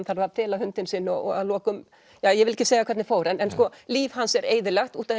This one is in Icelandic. þarf að fela hundinn sinn og að lokum ja ég vil ekki segja hvernig fór en líf hans er eyðilagt út af